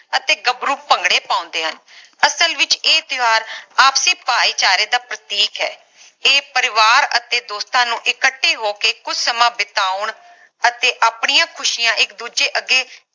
ਅਤੇ ਗਬਰੂ ਭੰਗੜੇ ਪਾਉਂਦੇ ਹਨ ਅਸਲ ਵਿਚ ਇਹ ਤਿਓਹਾਰ ਆਪਸਰੀ ਭਾਈਚਾਰੇ ਦਾ ਪ੍ਰਤੀਕ ਹੈ ਇਹ ਪਰਿਵਾਰ ਅਤੇ ਦੋਸਤਾਂ ਨੂੰ ਇਕੱਠੇ ਹੋ ਕੇ ਕੁਝ ਸਮਾਂ ਬਿਤਾਉਣ ਅਤੇ ਆਪਣੀਆਂ ਖੁਸ਼ੀਆਂ ਇਕ ਦੂਜੇ ਅੱਗੇ